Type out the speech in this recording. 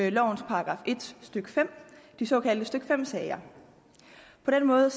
i lovens § en stykke fem de såkaldte stykke fem sager på den måde